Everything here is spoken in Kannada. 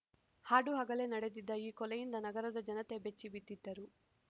ಹಾಡುಹಗಲೇ ನಡೆದಿದ್ದ ಈ ಕೊಲೆಯಿಂದ ನಗರದ ಜನತೆ ಬೆಚ್ಚಿಬಿದ್ದಿದ್ದರು